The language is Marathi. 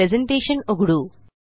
प्रेज़ेंटेशन उघडू